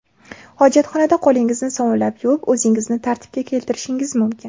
Hojatxonada qo‘lingizni sovunlab yuvib, o‘zingizni tartibga keltirishingiz mumkin.